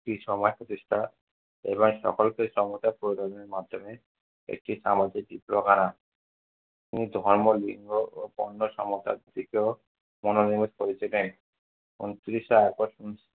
একটি সময় প্রতিষ্ঠা এবং সকলকে মাধ্যমে একটি সামগ্রিক চিত্র হারান তিনি ধর্ম লিঙ্গ ও দিকেও মনোনিবেশ করেছিলেন। ঊনত্রিশে august